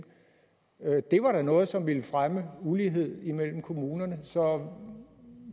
det var da noget som ville fremme ulighed mellem kommunerne så